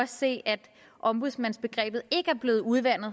se at ombudsmandsbegrebet ikke er blevet udvandet